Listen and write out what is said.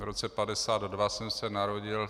V roce 1952 jsem se narodil.